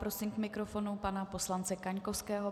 Prosím k mikrofonu pana poslance Kaňkovského.